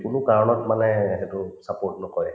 কোনো কাৰণত মানে সেইটো support নকৰে